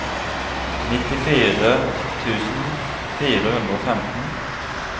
nittifire tusen fire hundre og femten